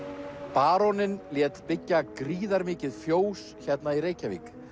baróninn lét byggja gríðarmikið fjós hérna í Reykjavík